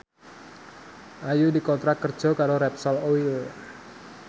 Ayu dikontrak kerja karo Repsol Oil